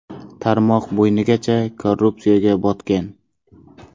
Tarmoq bo‘ynigacha korrupsiyaga botgan.